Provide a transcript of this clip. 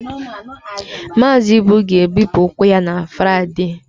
Mazị Ibu ga-ebipụ ụkwụ ya na Fraịde